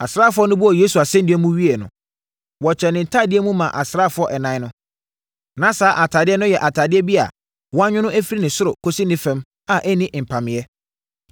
Asraafoɔ no bɔɔ Yesu asɛnnua mu wieeɛ no, wɔkyɛɛ ne ntadeɛ mu maa asraafoɔ ɛnan no. Na saa atadeɛ no yɛ atadeɛ bi a, wɔanwono firi ne ɔsoro kɔsi ne fam a ɛnni mpameeɛ.